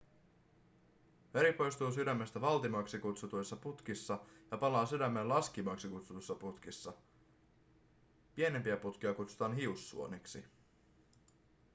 veri poistuu sydämestä valtimoiksi kutsutuissa putkissa ja palaa sydämeen laskimoiksi kutsutuissa putkissa pienimpiä putkia kutsutaan hiussuoniksi